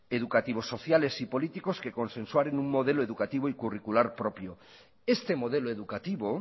educativos sociales y políticos que consensuan en un modelo educativo y curricular propio este modelo educativo